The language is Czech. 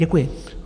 Děkuji.